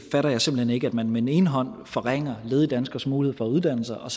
fatter simpelt hen ikke at man med den ene hånd forringer ledige danskeres mulighed for at uddanne sig og